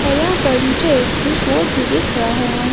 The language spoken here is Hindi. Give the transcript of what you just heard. औरयहाँ पर मुझे एक स्विच बोर्ड भी दिख रहा है।